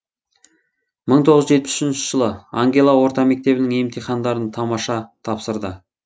мың тоғыз жүз жетпіс үшінші жылы ангела орта мектебінің емтихандарын тамаша тапсырды